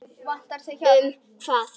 Semja um hvað?